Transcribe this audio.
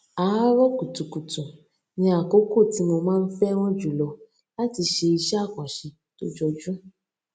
àárò kùtùkùtù ni àkókò tí mo máa ń féràn jù lọ láti ṣe iṣé àkànṣe tó jọjú